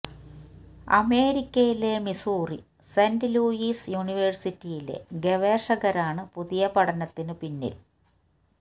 അമേരിക്കയിലെ Missouri Saint Louis യൂണിവേഴ്സിറ്റിയിലെ ഗവേഷകരാണ് പുതിയ പഠനത്തിന് പിന്നില്